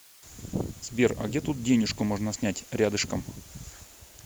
сбер а где тут денежку можно снять рядышком